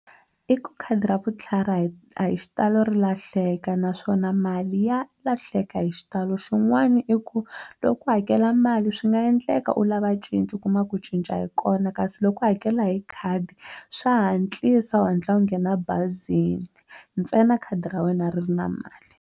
I ku khadi ra vutlhari a hi a hi xitalo ri lahleka naswona mali ya lahleka hi xitalo xin'wana i ku loko u ku hakela mali swi nga endleka u lava cinci u kuma ku cinca a yi kona kasi loko u hakela hi khadi swa hatlisa u hatla u nghena ebazini ntsena khadi ra wena ri ri na mali.